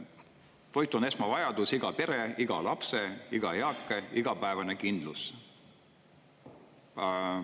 Toit on esmavajadus, iga pere, iga lapse, iga eaka igapäevane kindlus.